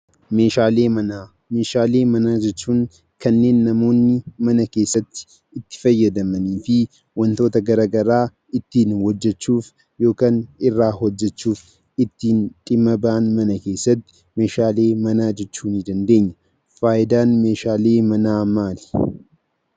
Meeshaalee manaa. Meeshaalee manaa jechuun kanneen namoonni mana keessatti itti fayyadamanii fi wantoota gara garaa ittiin hojjechuuf yokaan irraa hojjechuuf ittiin dhimma ba'an mana keessatti meeshaalee manaa jechuu nii dandeenya. Faayidaan meeshaalee manaa maali?